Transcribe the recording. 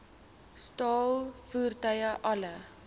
staal voertuie alle